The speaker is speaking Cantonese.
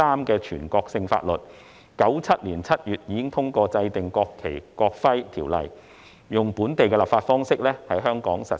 1997年7月，通過制定《國旗及國徽條例》，透過本地立法在港實施。